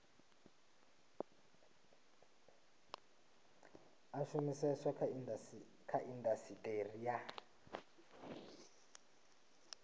a shumiseswa kha indasiteri ya